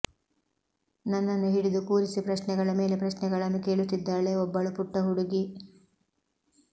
ನನ್ನನ್ನು ಹಿಡಿದು ಕೂರಿಸಿ ಪ್ರಶ್ನೆಗಳ ಮೇಲೆ ಪ್ರಶ್ನೆಗಳನ್ನು ಕೇಳುತ್ತಿದ್ದಾಳೆ ಒಬ್ಬಳು ಪುಟ್ಟ ಹುಡುಗಿ